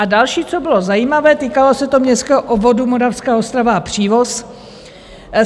A další, co bylo zajímavé, týkalo se to městského obvodu Moravská Ostrava a Přívoz.